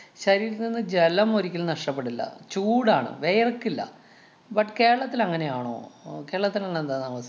ശരീരത്തില്‍ നിന്നും ജലം ഒരിക്കലും നഷ്ടപ്പെടില്ല. ചൂടാണ്, വെയര്‍ക്കില്ല. But കേരളത്തില്‍ അങ്ങനെയാണോ? അഹ് കേരളത്തില് ന്നെന്താ നമ~